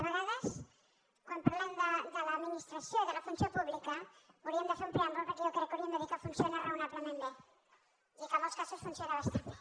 a vegades quan parlem de l’administració i de la funció pública hau·ríem de fer un preàmbul perquè jo crec que hauríem de dir que funciona raonablement bé i que en molts casos funciona bastant bé